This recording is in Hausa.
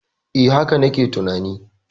E, haka na ke tunani.